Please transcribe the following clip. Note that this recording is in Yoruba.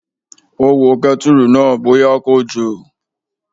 Ó wo kẹ́tùrù náà bóyá kò jò